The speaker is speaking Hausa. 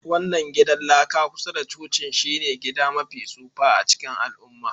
wannan gidan laka kusa da cocin shine gida mafi tsufa a cikin al'umma.